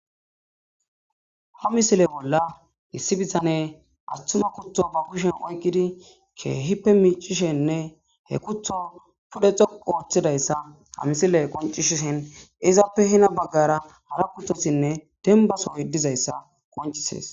ha misile bolla issi bitane attuma kutho ba kushen oygidi keehippe miicishenne he kutho pudexo ooththidayssa ha misile qoncishishen izaappe hina baggara hara kuthosinne denbasoy dizayssa qoncisees